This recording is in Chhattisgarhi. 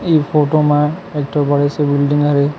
इ फोटो म एकठो बड़े से बिल्डिंग हरे।